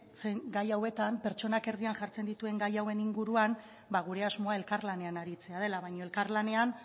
zen gai hauetan pertsonak erdian jartzen dituen gai hauen inguruan ba gure asmoa elkarlanean aritzea dela baina elkarlanean